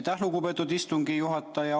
Aitäh, lugupeetud istungi juhataja!